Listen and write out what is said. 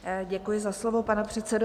Děkuji za slovo, pane předsedo.